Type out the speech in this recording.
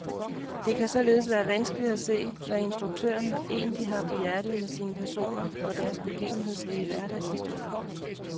Det kan således være vanskeligt at se, hvad instruktøren egentlig har på hjertet med sine personer og deres begivenhedsrige hverdagshistorie.